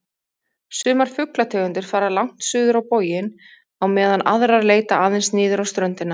Sumar fuglategundir fara langt suður á boginn á meðan aðrar leita aðeins niður á ströndina.